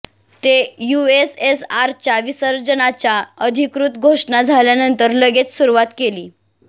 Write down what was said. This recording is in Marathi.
ते युएसएसआर च्या विसर्जनाच्या अधिकृत घोषणा झाल्यानंतर लगेच सुरुवात केली